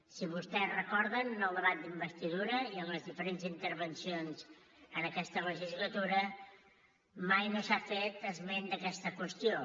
si vostès ho recorden en el debat d’investidura i en les diferents intervencions en aquesta legislatura mai no s’ha fet esment d’aquesta qüestió